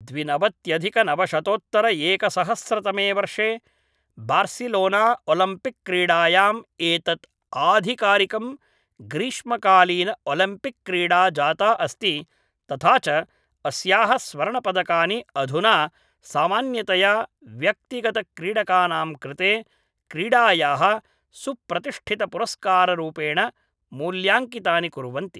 द्विनवत्यधिकनवशतोत्तरएकसहस्रतमे वर्षे Barcelona Olympic क्रीडायां एतत् आधिकारिकं ग्रीष्मकालीन ओलम्पिक् क्रीडा जाता अस्ति तथा च अस्याः स्वर्णपदकानि अधुना सामान्यतया व्यक्तिगतक्रीडकानां कृते क्रीडायाः सुप्रतिष्ठितपुरस्काररूपेण मूल्याङ्कितानि कुर्वन्ति